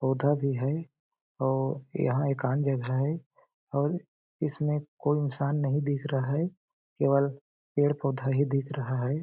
पौधा भी है और यहाँ एकांत जगह है और इसमें कोई इंसान नहीं दिख रहा है केवल पेड़-पौधा ही दिख रहा है।